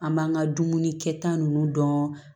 An b'an ka dumuni kɛta nunnu dɔn